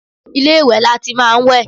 Ilé ìwẹ̀ lati máa ń wẹ̀.